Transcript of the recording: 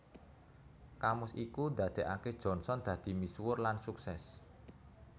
Kamus iku ndadekake Johnson dadi misuwur lan sukses